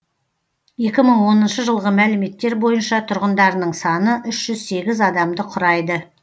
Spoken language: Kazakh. екі мың оныншы жылғы мәліметтер бойынша тұрғындарының саны үш жүз сегіз адамды құрайды